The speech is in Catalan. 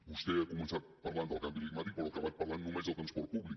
vostè ha començat parlant del canvi climàtic però ha acabat parlant només del transport públic